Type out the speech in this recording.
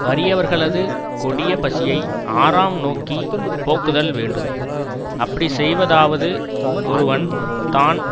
வறியவர்களது கொடிய பசியை ஆறாம் நோக்கி போக்குதல் வேண்டும் அப்படி செய்வதாவது ஒருவன் தான்